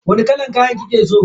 Wani kalan kaya kike so?